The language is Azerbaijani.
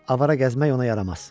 Avara gəzmək ona yaramaz.